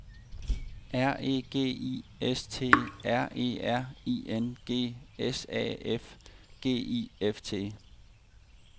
R E G I S T R E R I N G S A F G I F T